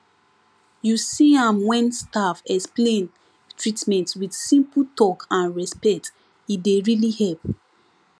you see amwhen staff explain treatment with simple talk and respect e dey really help